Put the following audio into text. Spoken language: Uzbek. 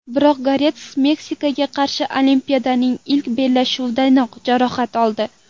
Biroq Goretska Meksikaga qarshi Olimpiadaning ilk bellashuvidayoq jarohat oldi.